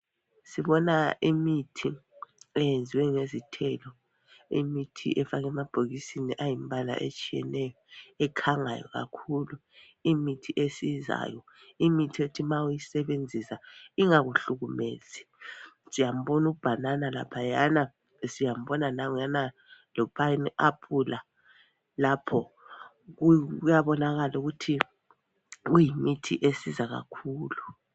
Sibona imithi eyenziwe ngezithelo. Imithi efakwe emabhokisini ayimbala etshiyeneyo ekhangayo kakhulu, imithi esizayo, imithi ethi ma uyisebenzisa ingakuhlukumezi, siyambona ubanana laphayana siyambona nanguyana lopineapple lapho, kuyabonakala ukuthi kuyimithi esiza kakhulu.